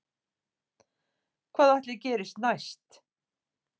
Hvað ætli gerist næst